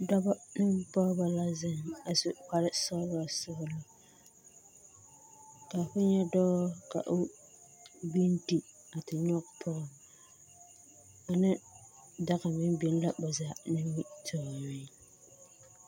Dɔbɔ ne pɔgeba la zeŋ a su kpare sɔgelɔ sɔgelɔ. ka ho nyɛ dɔɔ ka o gbinti a te nyɔge pɔge ane daga meŋ biŋ la a ba zaa nimitɔɔreŋ.